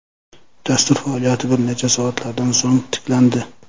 Dastur faoliyati bir necha soatlardan so‘ng tiklandi.